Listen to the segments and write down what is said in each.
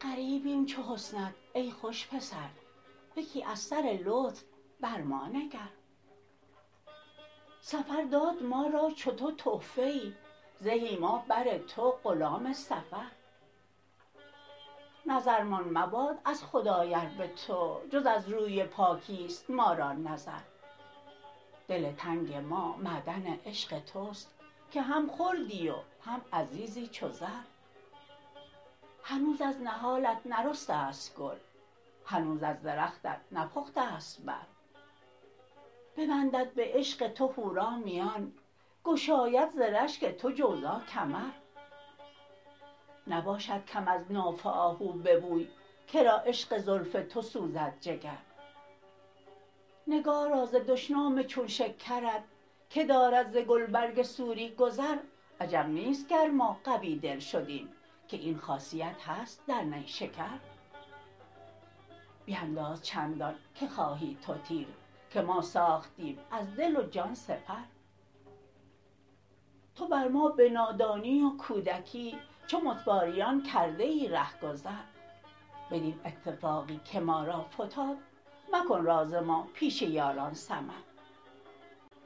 غریبیم چون حسنت ای خوش پسر یکی از سر لطف بر ما نگر سفر داد ما را چو تو تحفه ای زهی ما بر تو غلام سفر نظرمان مباد از خدای ار به تو جز از روی پاکیست ما را نظر دل تنگ ما معدن عشق تست که هم خردی و هم عزیزی چو زر هنوز از نهالت نرسته ست گل هنوز از درختت نپختست بر ببندد به عشق تو حورا میان گشاید ز رشگ تو جوزا کمر نباشد کم از ناف آهو به بوی کرا عشق زلف تو سوزد جگر نگارا ز دشنام چون شکرت که دارد ز گلبرگ سوری گذر عجب نیست گر ما قوی دل شدیم که این خاصیت هست در نیشکر بینداز چندان که خواهی تو تیر که ما ساختیم از دل و جان سپر تو بر ما به نادانی و کودکی چو متواریان کرده ای رهگذر بدین اتفاقی که ما را فتاد مکن راز ما پیش یاران سمر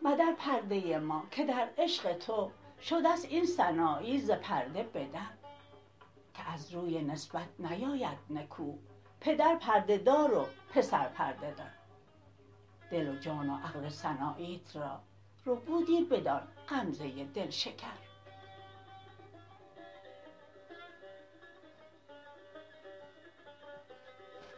مدر پرده ما که در عشق تو شدست این سنایی ز پرده به در که از روی نسبت نیاید نکو پدر پرده دار و پسر پرده در دل و جان و عقل سناییت را ربودی بدان غمزه دل شکر